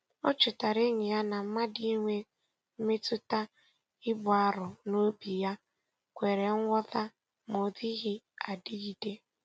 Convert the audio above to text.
O chetara enyi ya na mmadụ inwe mmetụta ibu arọ n'obi ya kwere nghọta ma ọ dịghị adịgide.